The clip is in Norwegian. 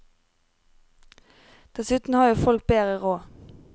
Dessuten har jo folk bedre råd.